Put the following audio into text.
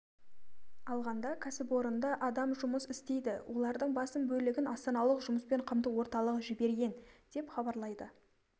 алғанда кәсіпорында адам жұмыс істейді олардың басым бөлігін астаналық жұмыспен қамту орталығы жіберген деп хабарлайды